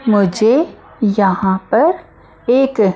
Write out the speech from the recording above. मुझे यहाँ पर एक--